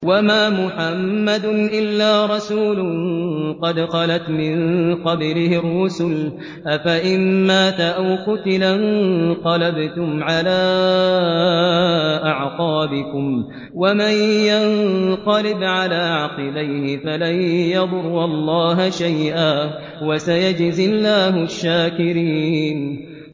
وَمَا مُحَمَّدٌ إِلَّا رَسُولٌ قَدْ خَلَتْ مِن قَبْلِهِ الرُّسُلُ ۚ أَفَإِن مَّاتَ أَوْ قُتِلَ انقَلَبْتُمْ عَلَىٰ أَعْقَابِكُمْ ۚ وَمَن يَنقَلِبْ عَلَىٰ عَقِبَيْهِ فَلَن يَضُرَّ اللَّهَ شَيْئًا ۗ وَسَيَجْزِي اللَّهُ الشَّاكِرِينَ